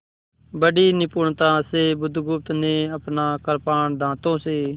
बड़ी निपुणता से बुधगुप्त ने अपना कृपाण दाँतों से